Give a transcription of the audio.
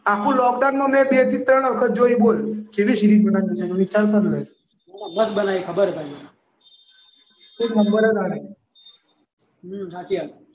આખા લોકડાઉનમાં જો બે થી ત્રણ વખત જોઈ બોલ ચેવી સીરીઝ હશે મસ્ત બનાવી ખબર છ મને એક નંબર છ હાચી વાત